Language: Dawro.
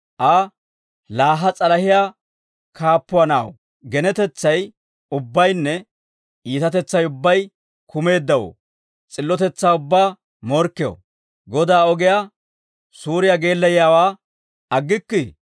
Aa, «Laa ha s'alahiyaa kaappuwaa na'aw, genetetsay ubbaynne iitatetsay ubbay kumeeddawoo, s'illotetsaa ubbaa morkkew, Godaa ogiyaa suuriyaa geellayiyaawaa aggikkii?